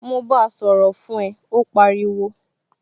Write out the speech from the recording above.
Mo báa sọ̀rọ̀ fún ẹ, ó pariwo